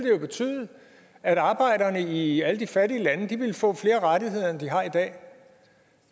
jo betyde at arbejderne i alle de fattige lande ville få flere rettigheder end de har i dag og